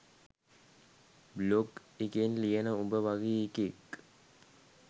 blog එකේ ලියන උඹ වගේ එකෙක්